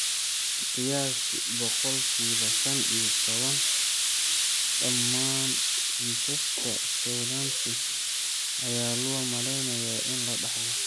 Qiyaastii boqolkiba shan iyo toban dhammaan kiisaska schwannomatosis ayaa loo maleynayaa in la dhaxlo.